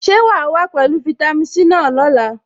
Ṣé wàá wá pẹ̀lú fitami C náà lọ́la?